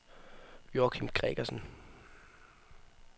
Joachim Gregersen